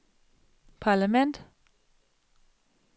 parlament